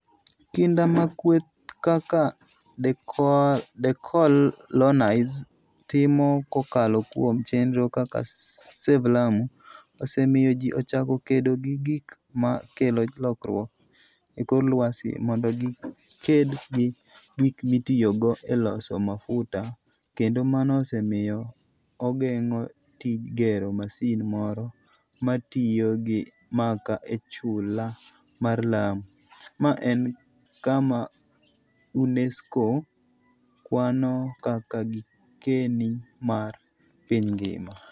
Kinda ma kweth kaka deCOALonize timo kokalo kuom chenro kaka Save Lamu, osemiyo ji ochako kedo gi gik ma kelo lokruok e kor lwasi mondo giked gi gik mitiyogo e loso mafuta, kendo mano osemiyo ogeng'o tij gero masin moro ma tiyo gi makaa e chula mar Lamu, ma en kama UNESCO kwano kaka gikeni mar piny ngima.